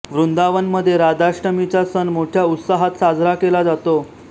वृंदावनमध्ये राधाष्टमीचा सण मोठ्या उत्साहात साजरा केला जातो